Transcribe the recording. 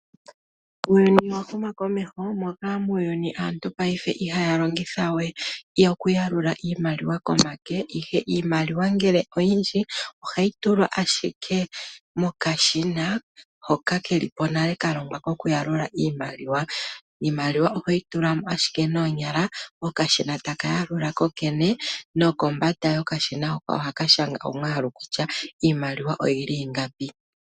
Uuyuni owahuma komeho moka muuyuni aantu payife ihaya longitha we oku yalula iimaliwa komake ihe iimaliwa ngele oyindji ohayi tulwa ashike mokashina hoka kelipo nale kalongwa koku yalula iimaliwa. Iimaliwa ohoyi tulamo ashike noonyala ,okashina taka yalula kokene nokombanda yokashina hoka ohaka shanga omwaalu kutya iimaliwa oyili ingapi.